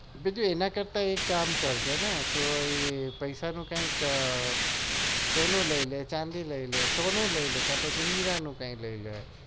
જો એના કરતા એક કામ કર પેસા નું કઈ સોનું લઇ ને ચાંદી લઇ ને